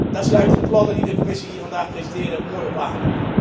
Daar sluiten de plannen die de Commissie hier vandaag presenteerde, ook mooi op aan.